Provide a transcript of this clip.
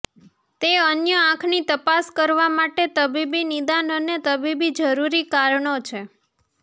તે અન્ય આંખની તપાસ કરવા માટે તબીબી નિદાન અને તબીબી જરૂરી કારણો છે